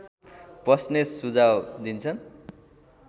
बस्नेत सुझाव दिन्छन्